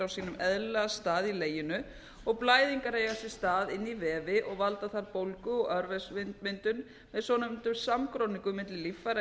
sínum eðlilega stað í leginu og blæðingar eiga sér stað inn í vefi og valda þar bólgu og örvefsmyndun með svonefndum samgróningum milli líffæra